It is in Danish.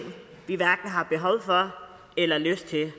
vi hverken har behov for eller lyst til